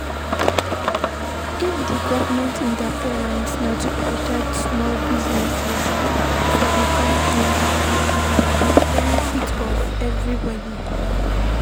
if di government interference na to protect small business for di country, na for di benefit of everybody